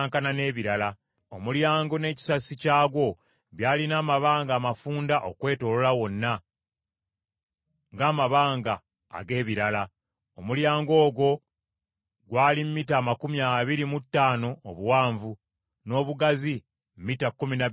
Omulyango n’ekisasi kyagwo byalina amabanga amafunda okwetooloola wonna, ng’amabanga ag’ebirala. Omulyango ogwo gwali mita amakumi abiri mu ttaano obuwanvu, ng’obugazi mita kkumi na bbiri n’ekitundu.